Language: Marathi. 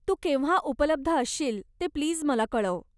तू केव्हा उपलब्ध असशील ते प्लीज मला कळव.